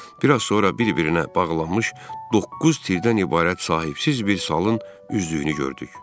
Bir az sonra bir-birinə bağlanmış doqquz tirdən ibarət sahibsiz bir salın üzdüyünü gördük.